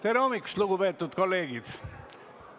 Tere hommikust, lugupeetud kolleegid!